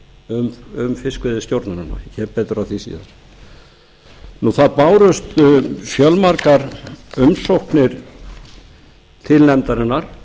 um fiskveiðistjórnina ég kem betur að því síðar það bárust fjölmargar umsóknir til nefndarinnar